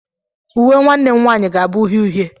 Uwe nwanne m nwanyị ga-abụ uhie uhie.